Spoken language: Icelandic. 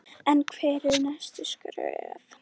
En hver eru næstu skref?